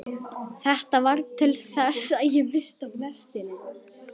Þetta varð til þess að ég missti af lestinni.